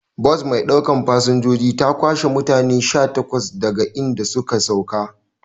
Bas maiɗaukan fasanjoji ta kwashe mutane sha takwas daga idan suka sauka